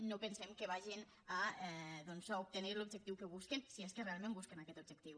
no pensem que vagin a obtenir l’objectiu que busquen si és que realment busquen aquest objectiu